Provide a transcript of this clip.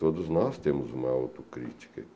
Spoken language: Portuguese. Todos nós temos uma autocrítica.